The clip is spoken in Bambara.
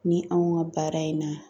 Ni anw ka baara in na